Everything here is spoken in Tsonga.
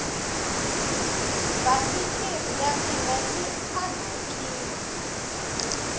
basikiri ya mina yi anhakini